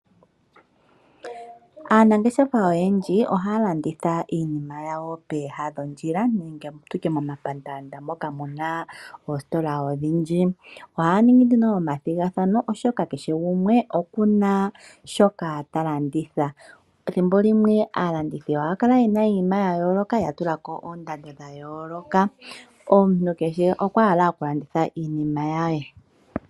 Aanangeshefa oyendji ohaya landitha iinima yawo peeha dhondjila nenge tutye momapaandanda moka muna oostola odhindji. Ohaya ningi nduno nee omathigathano oshoka keshe gumwe okuna shoka talanditha. Ethimbo limwe aalanditha ohaya kala yena iiinima yayooloka ya tulako oondando dhayooloka omuntu kehe okwahala okulanditha iinima yaye.